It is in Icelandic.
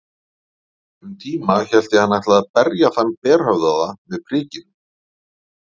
Um tíma hélt ég hann ætlaði að berja þann berhöfðaða með prikinu.